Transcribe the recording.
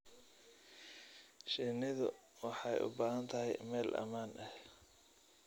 Shinnidu waxay u baahan tahay meel ammaan ah.